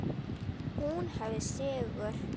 Hún hafði sigur.